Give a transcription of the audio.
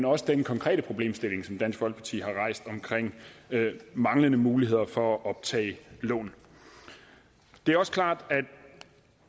også den konkrete problemstilling som dansk folkeparti har rejst omkring manglende muligheder for at optage lån det er også klart